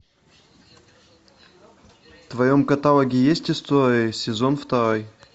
в твоем каталоге есть истории сезон второй